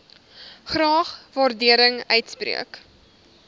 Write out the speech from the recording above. graag waardering uitspreek